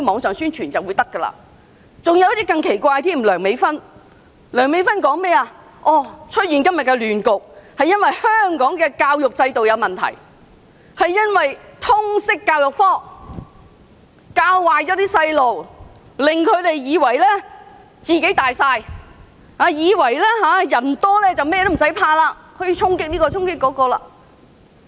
有些人的看法更是奇怪，以梁美芬議員為例，她認為今天的亂局源於香港教育制度出現問題，通識教育科教壞青少年，令他們以為"自己大晒"，以為人多便甚麼都不怕，可以到處衝擊。